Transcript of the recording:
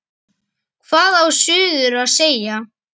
Hvað á suður að segja?